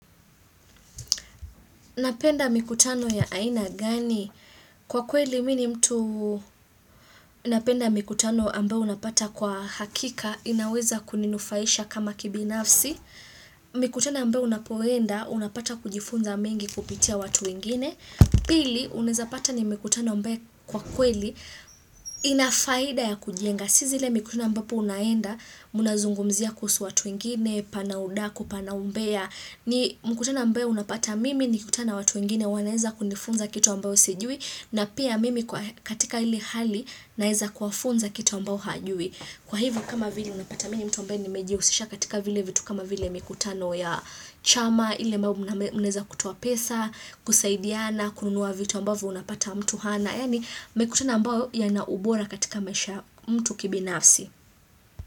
Napenda mikutano ya aina gani? Kwa kweli mimi ni mtu napenda mikutano ambayo unapata kwa hakika inaweza kuninufaisha kama kibinafsi. Mikutano ambayo unapoenda unapata kujifunza mengi kupitia watu wengine. Pili, unaweza pata ni mikutano ambaye kwa kweli inafaida ya kujenga. Sizi le mikutano ambapo unaenda muna zungumzia kuhusu watu wengine, pana udaku, pana umbea. Ni mkutano ambaye unapata mimi nikikutana watu wengine wanaweza kunifunza kitu ambao sijui. Na pia mimi katika ile hali naweza kuwafunza kitu ambao hajui. Kwa hivyo kama vile unapata mimi mtu ambaye ni mejihusisha katika vile vitu kama vile mkiutano ya chama ile ambao munaweza kutoa pesa, kusaidiana, kununua vitu ambavyo unapata mtu hana. Yaani mikutano ambayo ya naubora katika maisha ya mtu kibinafsi.